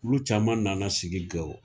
Olu caman nana sigi gawo